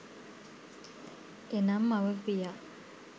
එනම් මව පියා